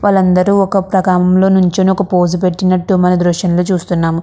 వాళ్ళందరూ ఒక ప్రకారం లో నిల్చొని ఒక పోజ్ పెట్టినట్టు మనం దృశ్యం లో చూస్తున్నాం.